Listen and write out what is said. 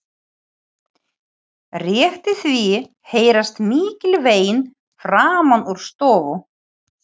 Rétt í því heyrast mikil vein framan úr stofu.